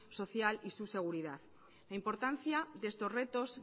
social y su seguridad la importancia de estos retos